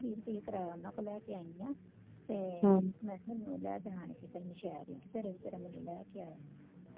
ਵੀਹ ਰੁਪਈਏ ਕਰਾਇਆ ਉਹਨ੍ਹਾਂ ਤੂੰ ਲੈ ਕੇ ਆਈ ਆ ਤੇ ਮੈਂ ਕਿਹਾ ਮੈਨੂੰ ਲੈ ਜਾਨ ਕੇ ਕੋਈ ਨਾ ਸ਼ਹਿਰ ਤੇ ਫਿਰ ਵਿਚਾਰਾਂ ਮੈਨੂੰ ਲੈ ਕੇ ਆਇਆ